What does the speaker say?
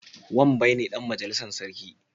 Wambai ne Dan majalissar sarki